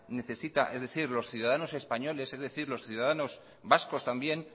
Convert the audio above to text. necesita